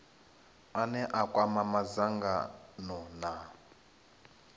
ane a kwama madzangano na